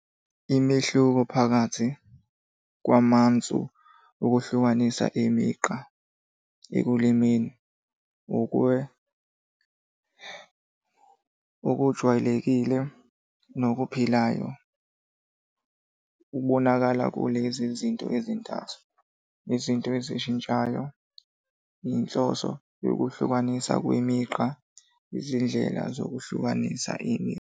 Imehluko phakathi kwamansu okuhlukanisa imigqa ekulimeni okujwayelekile nokuphilayo kubonakala kulezi zinto ezintathu, izinto ezishintshayo, inhloso yokuhlukaniswa kwemigqa, izindlela zokuhlukanisa .